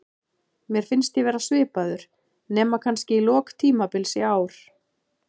Mér fannst ég vera svipaður, nema kannski í lok tímabils í ár.